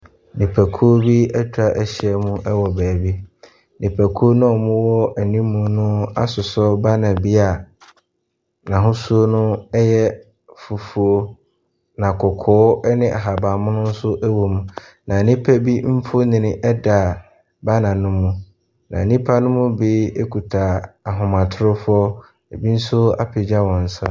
Nipakuo bi ɛtwahyia mu wɔ baabi. Nnipakuo noa ɔwɔ animmuu no asosɔ banner bia n'hosuo no ɛyɛ fufuo na kɔkɔɔ ɛne ahaban mono nso ɛwɔ mu. Na nnipa bi nfonni ɛda banner no mu. Na nnipa nom bi kuta ahomatorofoɔ. Ebi nso apegya wɔn sa.